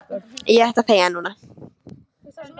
Ég ætti að þegja núna.